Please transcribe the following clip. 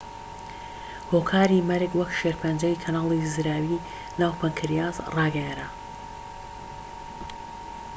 هۆکاری مەرگ وەک شێرپەنجەی کەناڵی زراوی ناو پەنکریاس ڕاگەیەنرا